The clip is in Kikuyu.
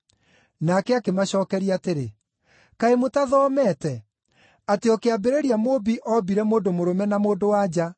Nake akĩmacookeria atĩrĩ, “Kaĩ mũtathomete, atĩ o kĩambĩrĩria Mũũmbi ‘ombire mũndũ-mũrũme na mũndũ-wa-nja’,